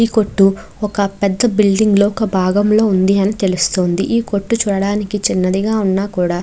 ఈ కొట్టు ఒక పెద్ద బిల్డింగ్ లో ఒక బాగంలో ఉందని అని తెలుస్తుంది ఈ కొట్టు చూడడానికి చిన్నదిగ వున్నా కూడ --